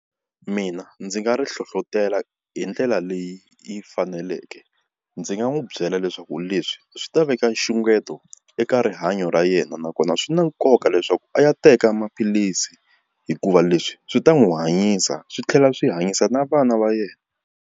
Mina ndzi nga ri hlohlotela hi ndlela leyi yi faneleke ndzi nga n'wi byela leswaku leswi swi ta veka nxungeto eka rihanyo ra yena nakona swi na nkoka leswaku a ya teka maphilisi hikuva leswi swi ta n'wi hanyisa swi tlhela swi hanyisa na vana va yena.